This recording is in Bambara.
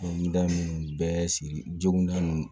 N da ninnu bɛɛ sigi joginda ninnu